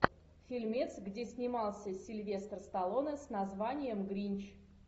фильмец где снимался сильвестр сталлоне с названием гринч